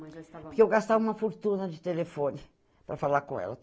já estava. Porque eu gastava uma fortuna de telefone para falar com ela.